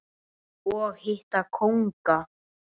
og hitta kónga.